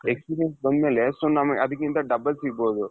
experience ಬಂದಮೇಲೆ so ನಾನು ಅದಕ್ಕಿಂತ double ಸಿಗ್ಬಹುದು.